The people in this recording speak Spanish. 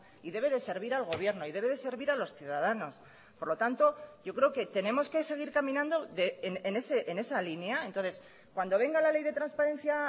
y debe de servir al gobierno y debe de servir a los ciudadanos por lo tanto yo creo que tenemos que seguir caminando en esa línea entonces cuando venga la ley de transparencia